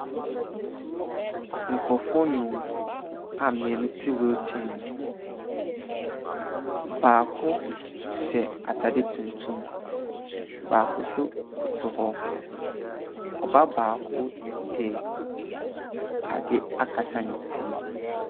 Nkurɔfoɔ nnum a mmienu te wheelchair mu. Baako hyɛ atade tuntum. Baako nso koto hɔ. Ɔbaa baako de ade akata ne ti.